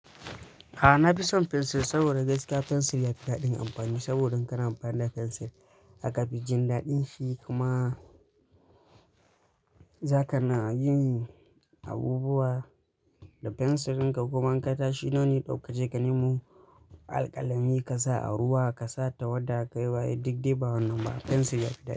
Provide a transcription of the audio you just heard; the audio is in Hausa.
A'a na fi son fensir saboda gaske fensir yafi daɗin amfani saboda kana banda fensir aka fijin daɗin shi kuma zaka na yin abubuwa da fensirinka kuma in ka tashi nono dauke ka je ka nemo alƙalami ka sa a ruwa ka sa tawada ka yi wa duk dai ba wannan ba fensir yafi daɗi.